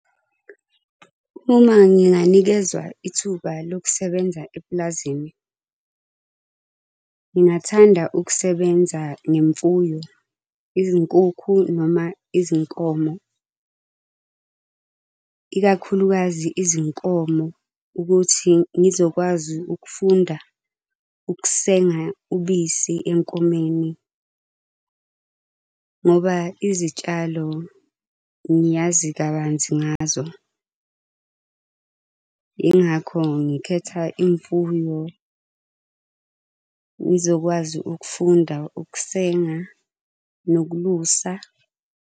Uma nginganikezwa ithuba lokusebenza epulazini, ngingathanda ukusebenza ngemfuyo, izinkukhu noma izinkomo. Ikakhulukazi izinkomo, ukuthi ngizokwazi ukufunda ukusenga ubisi enkomeni ngoba izitshalo ngiyazi kabanzi ngazo. Yingakho ngikhetha imfuyo ngizokwazi ukufunda ukusenga nokulusa.